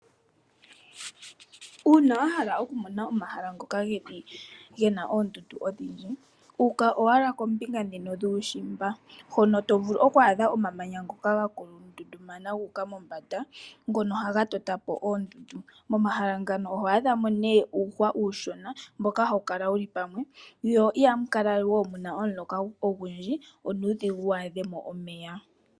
Uuna wahala okumona omahala ngoka gena oondundu odhindji uka owala kombinga djika yuushimba, hono tovulu oku adha omamanya ngoka gandundumana guuka mombanda ngono haga toto po oondundu, momahala ngano oho adha mo nee uuhwa uushona mbono hawu kala wuli pamwe, mo ihamu kala omuloka ogundji onkene onuudhigu waadhemo omeya.